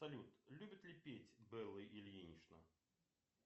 салют любит ли петь белла ильинична